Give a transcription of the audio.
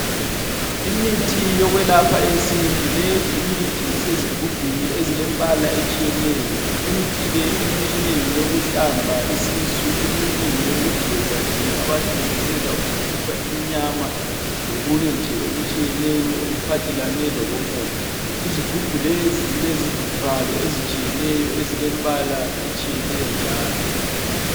Imithi yokwelapha yesintu leyi imithi isezigubhini ezilembala etshiyeneyo. Imithi le eminye ngeyokuhlamba isisu eminye ngeyokugeza nje abantu begeza ukukhipha iminyama lokunye nje okutshiyeneyo okuphathelanw lokomoya. Izigubhu lezi zilezivalo ezilembala etshiyeneyo njalo.